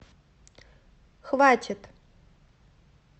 хватит